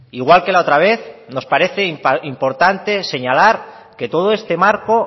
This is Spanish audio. igual que la otra vez nos parece importante señalar que todo este marco